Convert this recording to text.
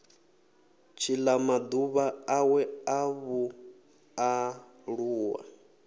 tshila maḓuvha awe a vhualuwa